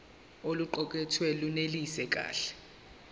oluqukethwe lunelisi kahle